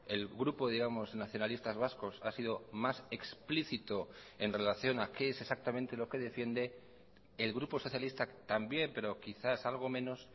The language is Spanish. el grupo digamos nacionalistas vascos ha sido más explicito en relación a qué es exactamente lo que defiende el grupo socialista también pero quizás algo menos